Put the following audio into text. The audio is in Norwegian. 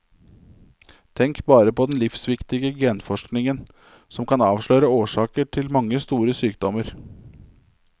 Tenk bare på den livsviktige genforskningen, som kan avsløre årsaken til mange store sykdommer.